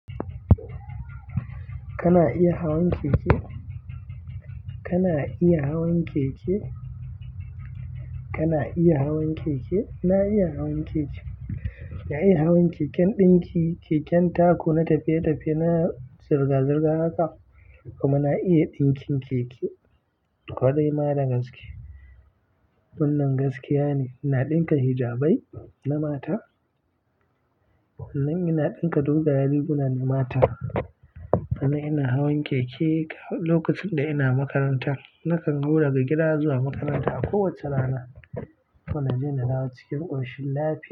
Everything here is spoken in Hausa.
Kana iya hawan keke? Kana iya hawan keke? Kana iya hawan keke? Na iya hawan keke. Na iya hawan keken ɗinki, keken taku, na tafiye-tafiye, na zirga-zirga haka. Kuma na iya ɗinkin keke. Kwarai ma da gaske. Wannan gaskiya ne. Ina ɗinka hijabai na mata. Sannan ina ɗinka dogayen riguna na mata. Sannan ina hawan keke lokacin da ina makaranta. Nakan zo daga gida zuwa makaranta a kowace rana. Kuma naje na dawo cikin ƙoshin lafiya.